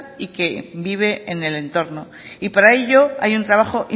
y quien vive en el entorno y para ello hay un trabajo